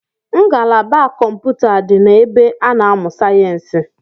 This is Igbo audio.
Ngalaba kọmpụta di na ebe a na-amụ sayensi